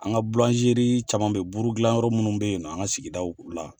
An ka bulanzeri caman bɛ yen , buru dilan yɔrɔ minnu bɛ yen nɔɔ, an ka sigidaw la.